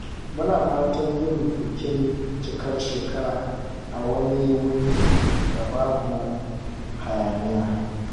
Muna fatan yin bikin cikar shekara a wani wurin da babu hayaniya.